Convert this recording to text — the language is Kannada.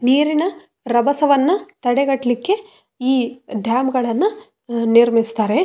ನೀರುನ್ ರಭಸವನ್ನು ತಡೆಗಟ್ಲಿಕ್ಕೆ ಈ ಡ್ಯಾಮ್ ಗಳನ್ನು ನಿರ್ಮಿಸ್ತಾರೆ.